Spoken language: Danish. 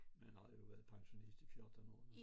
Men har jo været pensionist i 14 år